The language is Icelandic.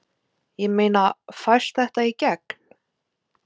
Ég meina, fæst þetta í gegn?